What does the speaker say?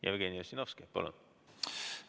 Jevgeni Ossinovski, palun!